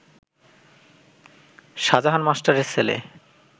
শাজাহান মাস্টারের ছেলে